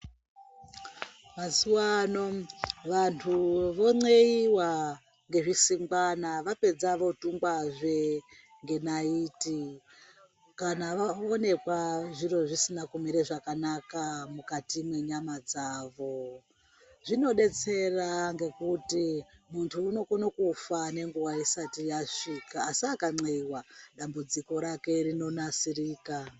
Mazuwano vanthu vonceyiwa ngezvisingwana vapedza votungwazve ngenaiti kana vaonekwa zviro zvisina kumire zvakanaka mukati mwenyama dzavo zvinodetsera ngekuti munthu unokona kufa nenguwa isati yasvika asi akanceyiwa dambudziko rake rinonasirika.